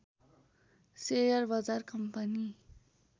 share बजार company